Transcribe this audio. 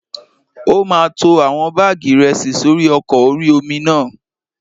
Ó máa to àwọn báàgì ìrẹsì sórí ọkọ̀ orí-omi náà